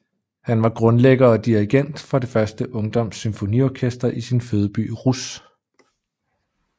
Han var grundlægger og dirigent for det første ungdoms symfoniorkester i sin fødeby Rousse